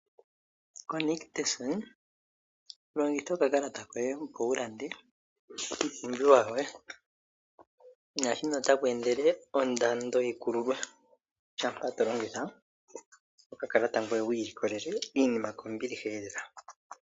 KoNictus longitha okakalata koye opo wulande iipumbiwa yoye, naashino otakweendele ondando yikululwe shampa tolongitha okakalata koye wu ilikolele iinima kombiliheelela.